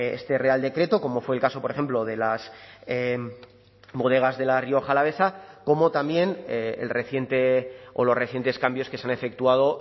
este real decreto como fue el caso por ejemplo de las bodegas de la rioja alavesa como también el reciente o los recientes cambios que se han efectuado